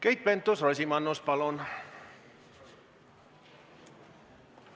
Keit Pentus-Rosimannus, palun!